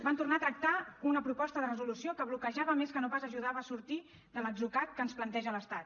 van tornar a tractar una proposta de resolució que bloquejava més que no pas ajudava a sortir de l’atzucac que ens planteja l’estat